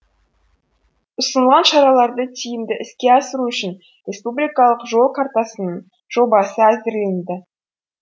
ұсынылған шараларды тиімді іске асыру үшін республикалық жол картасының жобасы әзірленді